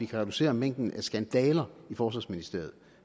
kan reducere mængden af skandaler i forsvarsministeriet